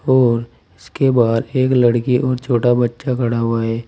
और इसके बाहर एक लड़की और छोटा बच्चा खड़ा हुआ है।